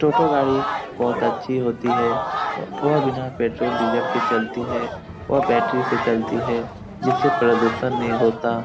टोटो गाड़ी बहुत अच्छी होती है वह बिना पेट्रोल डीजल के चलती है वह बैटरी से चलती है जिससे प्रदुषण नहीं होता।